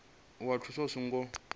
u wana thuso i songo